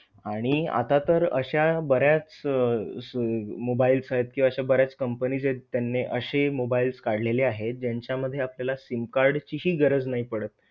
आणि आता तर अशा बऱ्याच अह अह mobiles आहेत किंवा अशा बऱ्याच companies आहेत, त्याने अशे mobiles काढलेले आहेत ज्यांच्या मध्ये आपल्याला SIM card ची हि गरज नाही पडत.